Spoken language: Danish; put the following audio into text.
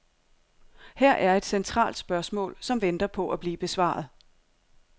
Her er et centralt spørgsmål, som venter på at blive besvaret.